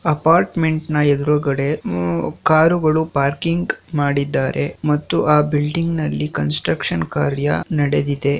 Apartment ನ ಎದುರ್ಗಡೆ ಉಹ್ ಕಾರುಗಳು ಪಾರ್ಕಿಂಗ್ ಮಾಡಿದ್ದಾರೆ. ಮತ್ತು ಆ ಬಿಲ್ಡಿಂಗ್ ನಲ್ಲಿ ಕನ್ಸ್ಟ್ರಕ್ಷನ್ ಕಾರ್ಯ ನಡೆದಿದೆ.